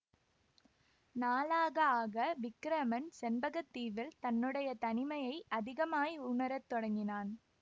நாளாக ஆக விக்கிரமன் செண்பக தீவில் தன்னுடைய தனிமையை அதிகமாய் உணரத் தொடங்கினான்